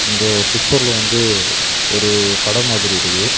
இந்த பிக்சர்ல வந்து ஒரு கடெ மாதிரி இருக்கு.